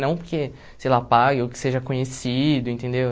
Não porque, sei lá, pague ou que seja conhecido, entendeu?